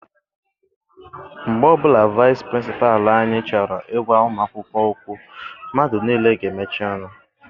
Mgbe ọbụla vaịsị pịrịnsịpalụ anyị chọrọ I gwa ụmụ akwụkwọ okwu, mmadụ niile n'emechi ọnụ.